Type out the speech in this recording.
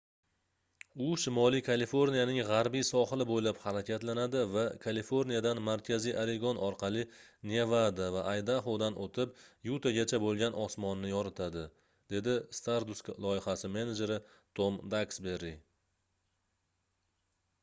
u shimoliy kaliforniyaning gʻarbiy sohili boʻylab harakatlanadi va kaliforniyadan markaziy oregon orqali nevada va aydahodan oʻtib yutagacha boʻlgan osmonni yoritadi - dedi stardust loyihasi menejeri tom daksberi